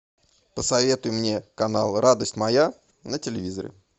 посоветуй мне канал радость моя на телевизоре